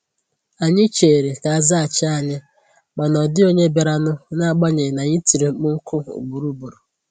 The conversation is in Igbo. Anyị chèrè ka azaghachi ànyị, ma na ọ dịghị ònye biara nụ n'agbanyi n'anyi tiri mkpu nku ugboro ugboro.